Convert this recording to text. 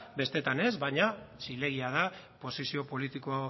besteetan ez baina zilegi da posizio politiko